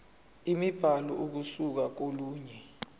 imibhalo ukusuka kolunye